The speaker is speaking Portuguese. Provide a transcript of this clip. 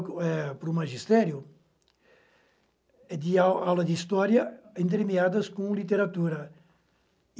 para o magistério de aula de história entremeadas com literatura.